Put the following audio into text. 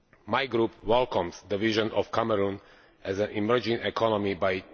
My group welcomes the vision of Cameroon as an emerging economy by